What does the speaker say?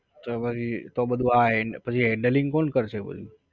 તો પછી તો બધુ આ પછી handling કોણ કરશે બધું?